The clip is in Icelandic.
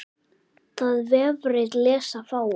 Það vefrit lesa fáir.